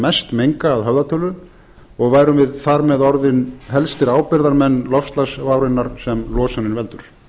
mest menga að höfðatölu og værum við þar með orðin helstir ábyrgðarmenn loftslagsvárinnar sem losunin veldur